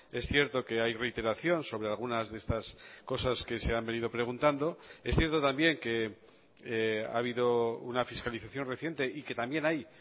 es cierto que hay reiteración sobre algunas de estas cosas que se han venido preguntando es cierto también que ha habido una fiscalización reciente y que también hay